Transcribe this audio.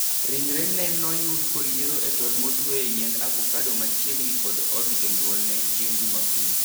Ringre ne noyud koliero e tol motwe e yiend avocado machiegni kod od jonyuolne chieng jumapil.